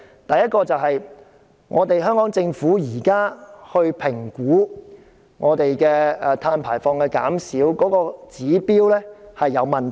第一，香港政府現時評估碳排放減少的指標存有問題。